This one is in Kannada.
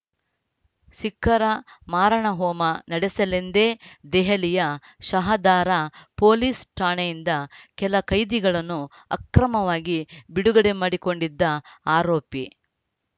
ಸಿಖ್ಖರ ಮಾರಣಹೋಮ ನಡೆಸಲೆಂದೇ ದೆಹಲಿಯ ಶಹದಾರಾ ಪೊಲೀಸ್‌ ಠಾಣೆಯಿಂದ ಕೆಲ ಕೈದಿಗಳನ್ನು ಅಕ್ರಮವಾಗಿ ಬಿಡುಗಡೆ ಮಾಡಿಕೊಂಡಿದ್ದ ಆರೋಪಿ